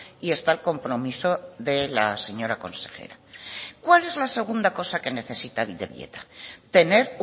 y está el compromiso de la señora consejera cuál es la segunda cosa que necesita bidebieta tener